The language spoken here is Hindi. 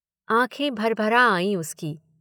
आँखें भरभरा आई उसकी।